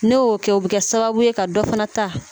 Ne y'o kɛ o bɛ kɛ sababu ye ka dɔ fana ta